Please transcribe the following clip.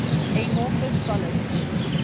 amorphous solids